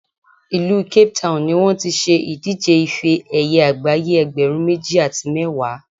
ìlú Cape Town ni wọ́n ti ṣe ìdíje ife ẹ̀yẹ àgbáyé ẹgbẹ̀rún méjì àti mẹ́wàá